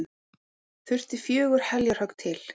Þurfti fjögur heljarhögg til.